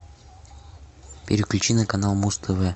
переключи на канал муз тв